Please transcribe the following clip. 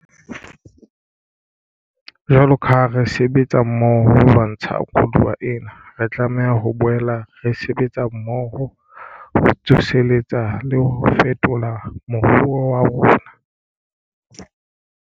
Jwalo ka ha re sebetsa mmoho ho lwantsha koduwa ena, re tlameha ho boela re sebetsa mmoho ho tsoseletsa le ho fetola moruo wa rona.